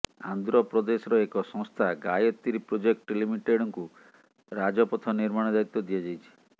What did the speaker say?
ଆନ୍ଧ୍ରପ୍ରଦେଶର ଏକ ସଂସ୍ଥା ଗାୟତ୍ରୀ ପ୍ରୋଜେକ୍ଟ ଲିମିଟେଡ୍କୁ ରାଜପଥ ନିର୍ମାଣ ଦାୟିତ୍ୱ ଦିଆଯାଇଛି